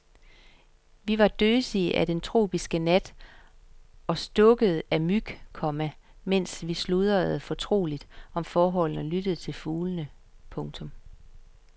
Vi var døsige af den tropiske nat og stukket af myg, komma mens vi sludrede fortroligt om forholdene og lyttede til fuglene. punktum